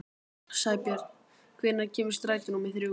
Sæbjörn, hvenær kemur strætó númer þrjú?